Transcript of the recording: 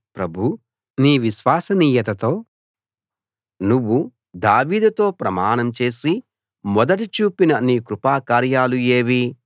ప్రభూ నీ విశ్వసనీయతతో నువ్వు దావీదుతో ప్రమాణం చేసి మొదట చూపిన నీ కృపా కార్యాలు ఏవి